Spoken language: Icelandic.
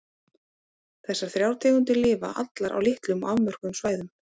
Þessar þrjár tegundir lifa allar á litlum og afmörkuðum svæðum.